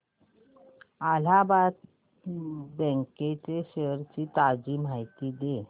Allahabad bank shares ची ताजी माहिती दे